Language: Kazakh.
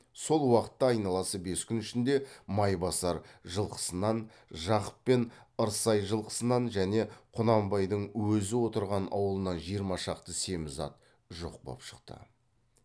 сол уақытта айналасы бес күн ішінде майбасар жылқысынан жақып пен ырсай жылқысынан және құнанбайдың өзі отырған аулынан жиырма шақты семіз ат жоқ боп шықты